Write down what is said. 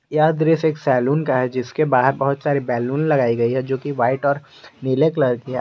यह दृश्य एक सैलून का है जिसके बाहर बहोत सारी बैलून लगाई गई है जो कि व्हाइट और नीले कलर की है।